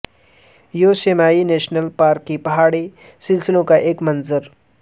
Yosemite national park کے پہاڑی سلسلوں کا ایک منظر